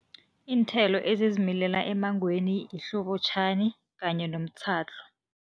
Iinthelo ezizimilela emmangweni ihlobotjhani kanye nomtshatlhu.